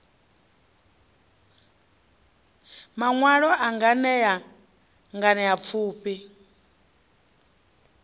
maṋwalwa a nganea nganea pfufhi